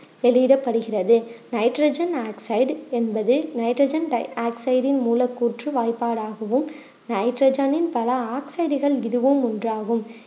வெளியிடப்படுகிறது nitrogen oxide என்பது nitrogen டை ஆக்சைடின் மூலக்கூற்று வாய்பாடு ஆகவும் நைட்ரஜனின் பல ஆக்சைடுகள் இதுவும் ஒண்றாகும்